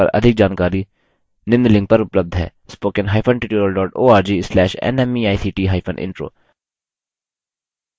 spoken hyphen tutorial dot org slash nmeict hyphen intro